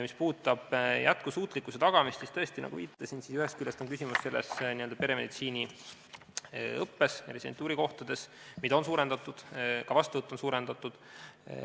Mis puudutab jätkusuutlikkuse tagamist, siis tõesti, nagu viitasin, ühest küljest on küsimus selles n-ö peremeditsiiniõppes, residentuurikohtades, mida on suurendatud, ka vastuvõttu on suurendatud.